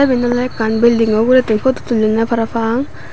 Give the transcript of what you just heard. sebane olay ekan baldigo uguray tun potutulonay parapang.